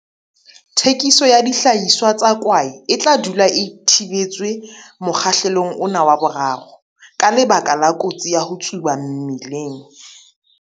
Thekiso ya dihlahiswa tsa kwae e tla dula e thibetswe mokgahlelong ona wa 3, ka lebaka la kotsi ya ho tsuba mmeleng.